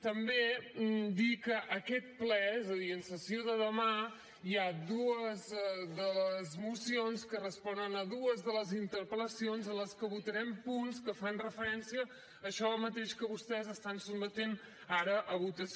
també dir que aquest ple és a dir en sessió de demà hi ha dues de les mocions que responen a dues de les interpel·lacions en les que votarem punts que fan referència a això mateix que vostès estan sotmetent ara a votació